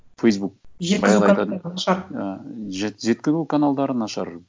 фейсбук жеткізу каналдары нашар